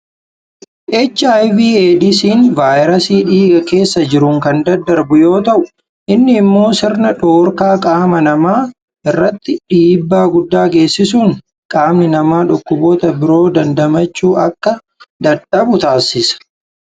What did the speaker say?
HIV AIDS'n vaayirasii dhiiga keessa jiruun kan daddarbu yoo ta'u, innis immoo sirna dhorkaa qaama namaa irratti dhiibbaa guddaa geessisuun qaamni namaa dhukkuboota biroo dandamachuu akka dadhabu taasisa.